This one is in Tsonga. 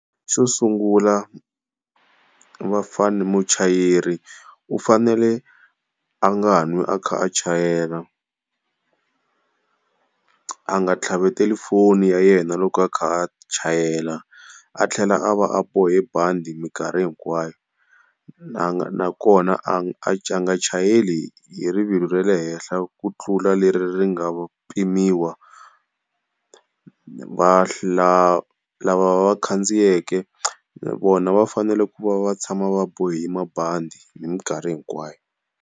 Xo sungula muchayeri u fanele a nga n'wi a kha a chayela, a nga tlhaveteli foni ya yena loko a kha a chayela. A tlhela a va a bohe bandi mikarhi hinkwayo, na na kona a nga chayeli hi rivilo ra le henhla ku tlula leri ri nga pimiwa. lava va khandziyeke na vona va fanele ku va va tshama va bohi mabandi hi mikarhi hinkwayo.